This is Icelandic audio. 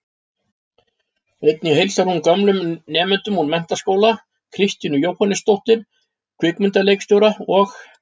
Einnig heilsar hún gömlum nemendum úr menntaskóla, Kristínu Jóhannesdóttur, kvikmyndaleikstjóra, og